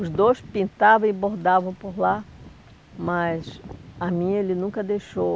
Os dois pintavam e bordavam por lá, mas a mim, ele nunca deixou.